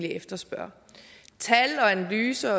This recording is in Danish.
efterspørger tal analyser